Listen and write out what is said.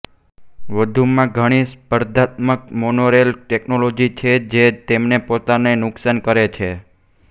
વધુમાં ઘણી સ્પર્ધાત્મક મોનોરેલ ટેકનોલોજી છે જે તેમને પોતાને નુકસાન કરે છે